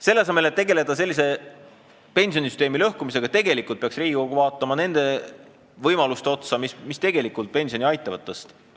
Selle asemel et tegeleda pensionisüsteemi lõhkumisega, peaks Riigikogu vaatama neid võimalusi, mis aitavad pensioni tõsta.